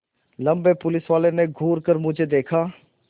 लम्बे पुलिसवाले ने घूर कर मुझे देखा